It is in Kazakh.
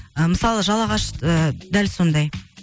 ы мысалы жалағаш ы дәл сондай